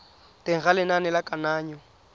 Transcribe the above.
teng ga lenane la kananyo